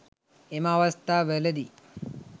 එම අවස්ථා වලදී